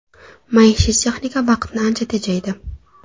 Maishiy texnika vaqtni ancha tejaydi.